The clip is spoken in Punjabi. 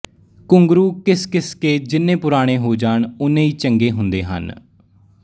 ਘੁੰਘਰੂ ਘਿਸ ਘਿਸ ਕੇ ਜਿੰਨੇ ਪੁਰਾਣੇ ਹੋ ਜਾਣ ਉੱਨੇ ਹੀ ਚੰਗੇ ਹੁੰਦੇ ਹਨ